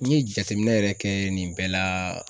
N ye jateminɛ yɛrɛ kɛ nin bɛɛ la